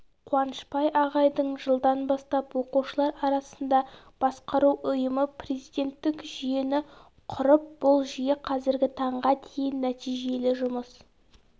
қуанышбай ағайдың жылдан бастап оқушылар арасында басқару ұйымы президенттік жүйені құрып бұл жүйе қазіргі таңға дейін нәтижелі жұмыс